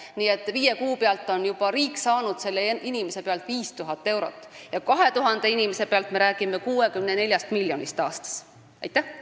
Nii et viie kuuga saab riik selle inimese pealt 5000 eurot ja 2000 inimese puhul me räägime 64 miljonist eurost aastas.